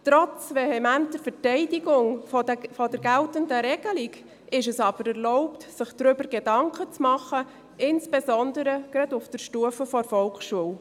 Trotz vehementer Verteidigung der geltenden Regelung ist es aber erlaubt, sich darüber Gedanken zu machen, insbesondere gerade auf der Stufe der Volksschule.